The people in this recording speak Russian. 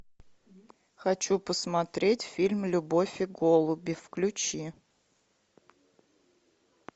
хочу посмотреть фильм любовь и голуби включи